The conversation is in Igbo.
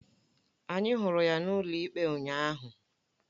Anyị hụrụ ya n'ụlọikpe ụnyaahụ